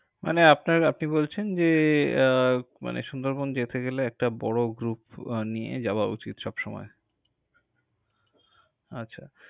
মানে আপনার, আপনি বলছেন যে, আহ মানে সুন্দরবন যেতে গেলে একটা বড় group নিয়ে যাওয়া উচিত সবসময়। আচ্ছা।